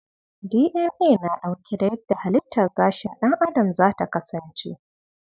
DNA na dauke da yadda halittar gashin dan adam zata kasance.